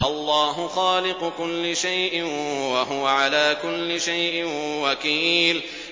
اللَّهُ خَالِقُ كُلِّ شَيْءٍ ۖ وَهُوَ عَلَىٰ كُلِّ شَيْءٍ وَكِيلٌ